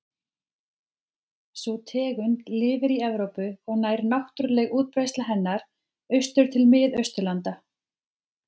Sú tegund lifir í Evrópu og nær náttúruleg útbreiðsla hennar austur til Mið-Austurlanda.